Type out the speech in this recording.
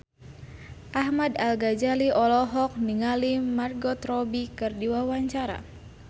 Ahmad Al-Ghazali olohok ningali Margot Robbie keur diwawancara